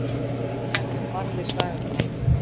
Skurðlæknir barði svæfingalækni